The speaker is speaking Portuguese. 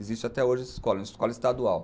Existe até hoje essa escola, é uma escola estadual.